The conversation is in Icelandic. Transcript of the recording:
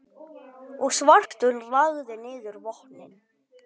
og svartur lagði niður vopnin.